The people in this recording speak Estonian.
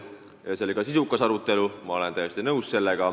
Ja see oli ka sisukas arutelu, ma olen sellega täiesti nõus.